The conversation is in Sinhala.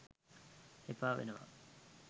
එපා වෙනවා